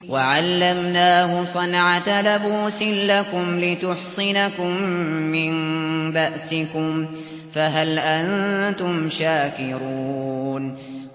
وَعَلَّمْنَاهُ صَنْعَةَ لَبُوسٍ لَّكُمْ لِتُحْصِنَكُم مِّن بَأْسِكُمْ ۖ فَهَلْ أَنتُمْ شَاكِرُونَ